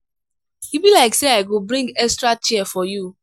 e be like sey i go bring extra chair for you.